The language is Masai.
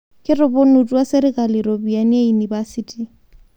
Ketoponutwa serikali ropiyiani ee inipasiti